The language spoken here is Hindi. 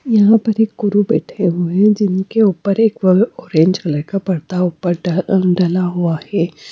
यहां पर एक गुरु बैठे हुए हैं जिनके ऊपर एक अ ऑरेंज कलर अलग का पर्दा ऊपर डला हुआ है।